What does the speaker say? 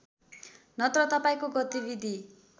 नत्र तपाईँको गतिविधि